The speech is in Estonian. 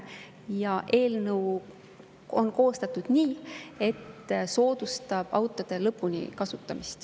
Ja eelnõu on koostatud nii, et see soodustab autode lõpuni kasutamist.